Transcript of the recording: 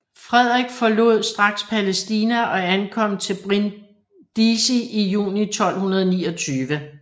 Frederik forlod straks Palæstina og ankom til Brindisi i juni 1229